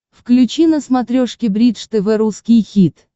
включи на смотрешке бридж тв русский хит